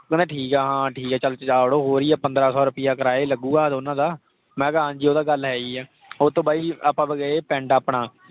ਕਹਿੰਦਾ ਠੀਕ ਆ। ਹਾਂ ਠੀਕ ਆ ਚਲ ਜਾ ਵਡ. ਹੋਰ ਕਿ ਆ ਚਲ ਪੰਦਰਾਂ ਸੋ ਰੁਪਈਆ ਕਿਰਾਇਆ ਹੀ ਲੱਗੂਗਾ ਦੋਨਾਂ ਦਾ। ਮੈਂ ਕਿਹਾ ਹਾਂਜੀ ਉਹ ਤਾਂ ਗਲ ਹੈ ਈ ਆ। ਓਹਤੋਂ ਬਾਈ ਆਪਾਂ ਗਏ ਪਿੰਡ ਆਪਣਾ।